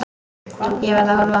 Ég verð að horfa.